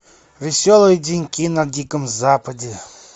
веселые деньки на диком западе